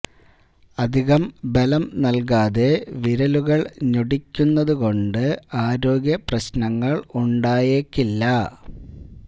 അധികം ബലം നൽകാതെ വിരലുകൾ ഞൊടിക്കുന്നതുകൊണ്ട് ആരോഗ്യ പ്രശ്നങ്ങൽ ഉണ്ടായേക്കില്ല